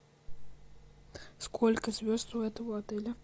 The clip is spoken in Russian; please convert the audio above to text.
сколько звезд у этого отеля